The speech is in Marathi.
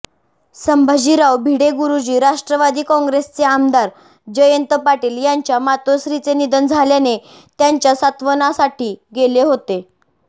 संभाजीराव भिडेगुरुजी राष्ट्रवादी काँग्रेसचे आमदार जयंत पाटील यांच्या मातोश्रीचे निधन झाल्याने त्यांच्या सांत्वनासाठी गेले होते